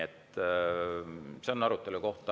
See on arutelu koht.